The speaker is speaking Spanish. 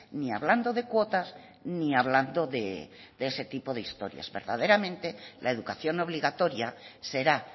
ni hablando de cuotas ni hablando de ese tipo de historias verdaderamente la educación obligatoria será